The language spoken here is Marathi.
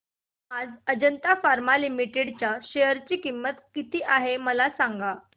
आज अजंता फार्मा लिमिटेड च्या शेअर ची किंमत किती आहे मला सांगा